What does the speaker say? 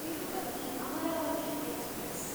Tirupati Amaravati express